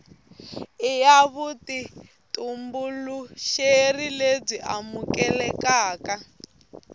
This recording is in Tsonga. i ya vutitumbuluxeri lebyi amukelekaka